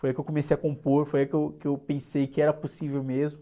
Foi aí que eu comecei a compor, foi aí que eu, que eu pensei que era possível mesmo.